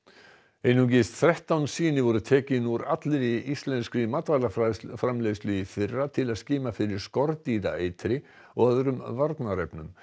einungis þrettán sýni voru tekin úr allri íslenskri matvælaframleiðslu í fyrra til að skima fyrir skordýraeitri eða öðrum varnarefnum